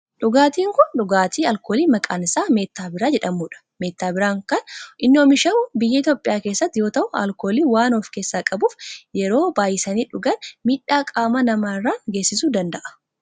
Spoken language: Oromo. Dhugaatin kun dhugaatii alkoolii maqaan isaa meettaa biiraa jedhamudha. Meettaa biiraan kan inni oomishamu biyya Itiyoophiyaa keessatti yoo ta'u alkoolii waan of keessaa qabuf yeroo baayisanii dhugan miidhaa qaama namaa irraan geessisu danda'a.